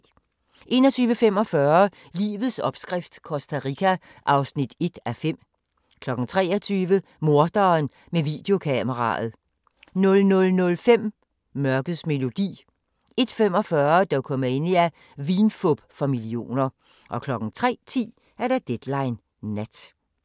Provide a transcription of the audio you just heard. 21:45: Livets opskrift - Costa Rica (1:5) 23:00: Morderen med videokameraet 00:05: Mørkets melodi 01:45: Dokumania: Vinfup for millioner 03:10: Deadline Nat